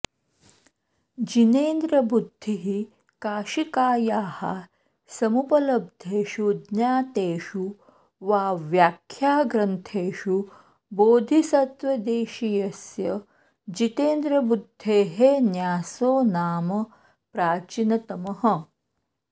जिनेन्द्रबुद्धिः काशिकायाः समुपलब्धेषु ज्ञातेषु वा व्याख्याग्रन्थेषु बोधिसत्वदेशीयस्य जितेन्द्रबुद्धेः न्यासो नाम प्राचीनतमः